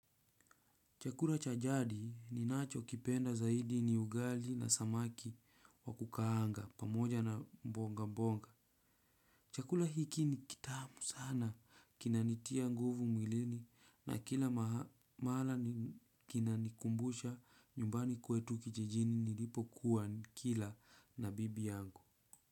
Chakula cha jadi ninacho kipenda zaidi ni ugali na samaki wa kukaanga pamoja na mbonga mbonga. Chakula hiki ni kitamu sana kinanitia nguvu mwilini na kila mahala ni kinanikumbusha nyumbani kwetu kijijini nilipo kuwa nikila na bibi yangu.